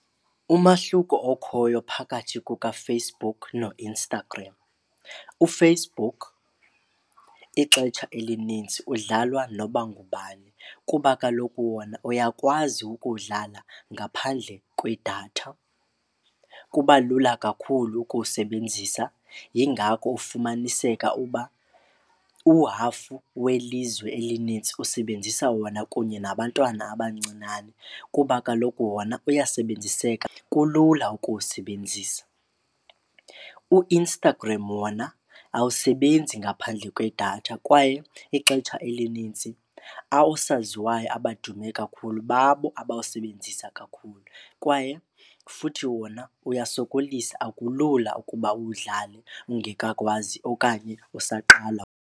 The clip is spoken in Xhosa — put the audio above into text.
Umahluko okhoyo phakathi kukaFacebook noInstagram uFacebook ixetsha elinintsi udlalwa noba ngubani kuba kaloku wona uyakwazi ukuwudlala ngaphandle kwedatha, kuba lula kakhulu ukuwusebenzisa. Yingako ufumaniseka uba uhafu welizwe elinintsi usebenzisa wona kunye nabantwana abancinane kuba kaloku wona uyasebenziseka, kulula ukuwusebenzisa. UInstagram wona awusebenzi ngaphandle kwedatha kwaye ixetsha elinintsi oosaziwayo abadume kakhulu babo abawusebenzisa kakhulu kwaye futhi wona uyasokolisa, akulula ukuba uwudlale ungekakwazi okanye usaqala.